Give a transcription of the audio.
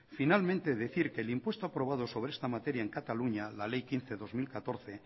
finalmente decir que el impuesto aprobado sobre esta materia en cataluña la ley quince barra dos mil catorce